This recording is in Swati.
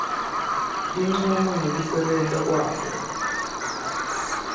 tincumo ngekusebenta kwabo